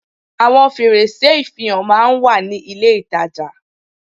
Àwon fèrèsé ìfihàn máa n wà ní ilé ìtajà